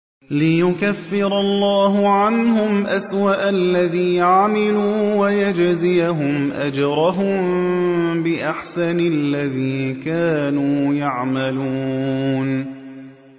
لِيُكَفِّرَ اللَّهُ عَنْهُمْ أَسْوَأَ الَّذِي عَمِلُوا وَيَجْزِيَهُمْ أَجْرَهُم بِأَحْسَنِ الَّذِي كَانُوا يَعْمَلُونَ